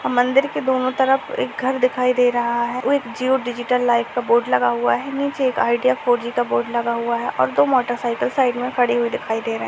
अ मंदिर के दोनों तरफ एक घर दिखाई दे रहा है। ओ एक जिओ डिजिटल लाइफ का बोर्ड लगा हुआ है। नीचे एक आइडिया फोर जी का बोर्ड लगा हुआ है और दो मोटरसाइकिल साइड में खड़ी हुई दिखाई दे रहे --